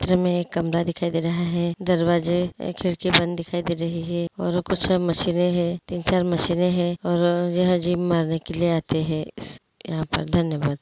घर में कैमरा दिखाई दे रहा है दरवाजे खिड़की बंद दिखाई दे रही है और कुछ सब मशीन है तीन-चार मशीन है और यह अजीब करने के लिए आते है